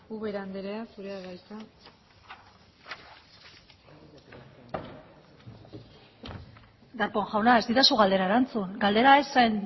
ubera andrea zurea da hitza darpón jauna ez didazu galdera erantzun galdera ez zen